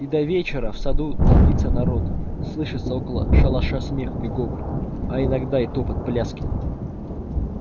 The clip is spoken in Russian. и до вечера в саду толпится народ слышится около шалаша смех и говор а иногда и топот пляски